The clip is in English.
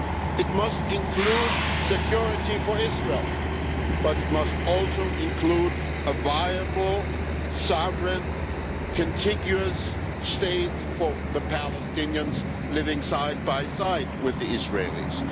It must include security for Israel, but it must also include a viable sovereign, contiguous state for the Palestinians living side by side with the Israelis.